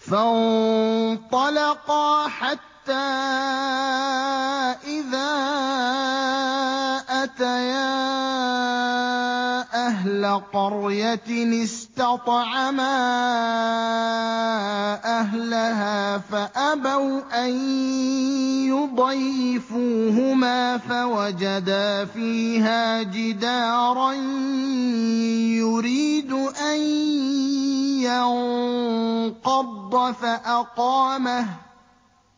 فَانطَلَقَا حَتَّىٰ إِذَا أَتَيَا أَهْلَ قَرْيَةٍ اسْتَطْعَمَا أَهْلَهَا فَأَبَوْا أَن يُضَيِّفُوهُمَا فَوَجَدَا فِيهَا جِدَارًا يُرِيدُ أَن يَنقَضَّ فَأَقَامَهُ ۖ